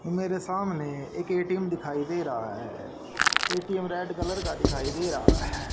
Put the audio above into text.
मेरे सामने एक ए_टी_एम दिखाई दे रहा है। ए_टी_एम रेड कलर का दिखाई दे रहा है।